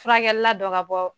Furakɛli la dɔ ka bɔ